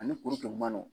Ani kuru kɛ man nɔgɔ